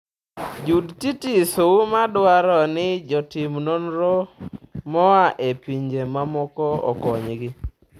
Jood Titis Auma dwaro ni jotim nonro moa e pinje mamoko okonygi